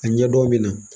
A ɲɛdɔn